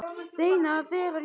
Reynir að vera ljón.